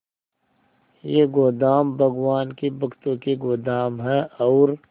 ये गोदाम भगवान के भक्तों के गोदाम है और